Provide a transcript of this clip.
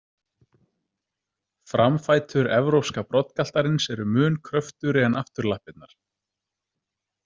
Framfætur evrópska broddgaltarins eru mun kröftugri en afturlappirnar.